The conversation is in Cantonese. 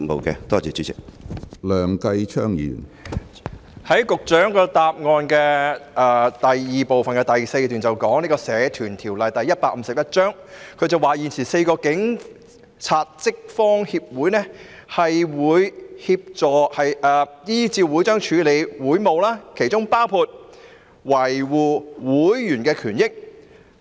局長在主體答覆中的第一及二部分第四段提到，"現時4個警察職方協會是根據《社團條例》註冊的社團，依照會章處理協會事務，當中包括維護會員權益"。